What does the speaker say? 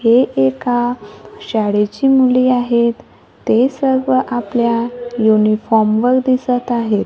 हे एका शाळेची मुली आहेत. ते सर्व आपल्या युनिफॉर्म वर दिसतं आहेत.